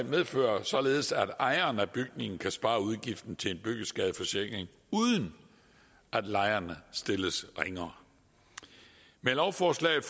medfører således at ejeren af bygningen kan spare udgiften til en byggeskadeforsikring uden at lejerne stilles ringere med lovforslaget